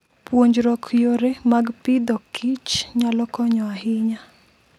Puonjruok yore mag Agriculture and Foodnyalo konyo ahinya.